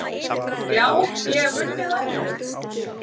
Já, ég hef unnið áður.